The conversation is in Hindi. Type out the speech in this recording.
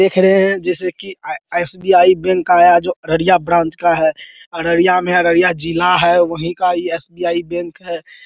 देख रहे है जैसे की एस.बी.आई. बैंक का अररिया ब्रांच का है अररिया है अररिया जिला है वही का यह एस.बी.आई. बैंक है।